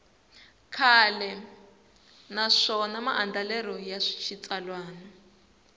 kahle naswona maandlalelo ya xitsalwana